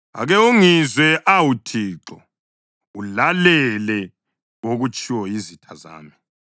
Ake ungizwe, awu Thixo; ulalele okutshiwo yizitha zami!